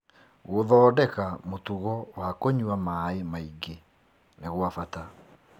Gũthondeka mũtugo wa kũnyua maĩ maingĩ nĩ gwa bata.